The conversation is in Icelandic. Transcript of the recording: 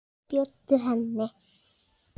Bjóddu henni.